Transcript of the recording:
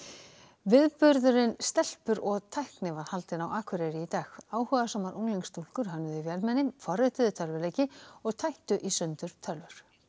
viðburðurinn stelpur og tækni var haldinn á Akureyri í dag áhugasamar unglingsstúlkur hönnuðu vélmenni forrituðu tölvuleiki og tættu í sundur tölvur